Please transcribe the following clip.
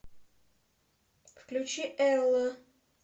включи элла